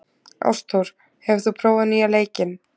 Ástþór, hefur þú prófað nýja leikinn?